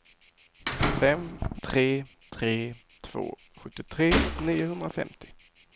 fem tre tre två sjuttiotre niohundrafemtio